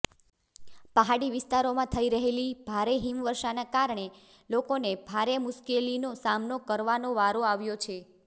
પહાડી વિસ્તારોમાં થઈ રહેલી ભારે હિમવર્ષાના કારણે લોકોને ભારે મુશ્કેલીનો સામનો કરવાનો વારો આવ્યો છે